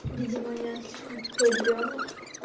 видимо я слишком тупой ребёнок